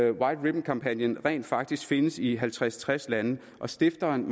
at white ribbon kampagnen rent faktisk findes i halvtreds til tres lande og stifteren